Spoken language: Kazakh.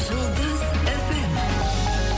жұлдыз эф эм